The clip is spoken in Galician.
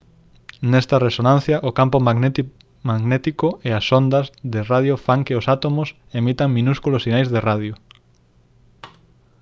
nesta resonancia o campo magnético e as ondas de radio fan que os átomos emitan minúsculos sinais de radio